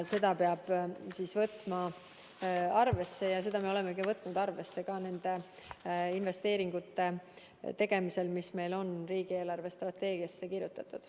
Seda peab võtma arvesse ja seda me olemegi võtnud arvesse ka nende investeeringute tegemisel, mis meil on riigi eelarvestrateegiasse kirjutatud.